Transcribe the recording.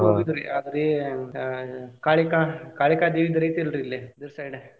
ಇದುಕು ಹೋಗಿದ್ದುರಿ ಯಾವ್ದ್ರಿ ಆಹ್ ಕಾಳಿಕಾ ಕಾಳಿಕಾ ದೇವಿದ್ ಐತ್ರಿ ಇಲ್ಲಿ ಊರ್ side .